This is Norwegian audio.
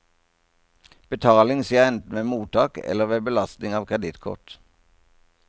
Betaling skjer enten ved mottak eller ved belastning av kredittkort.